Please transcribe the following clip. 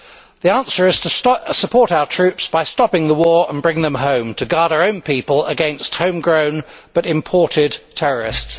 The answer is to support our troops by stopping the war and bringing them home to guard our own people against home grown but imported terrorists.